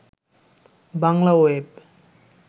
Bangla web